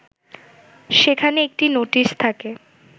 সেখানে একটি নোটিশ থাকে